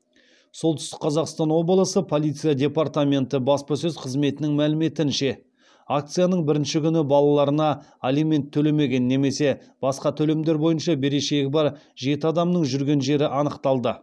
солтүстік қазақстан облысы полиция департаменті баспасөз қызметінің мәліметінше акцияның бірінші күні балаларына алимент төлемеген немесе басқа төлемдер бойынша берешегі бар жеті адамның жүрген жері анықталды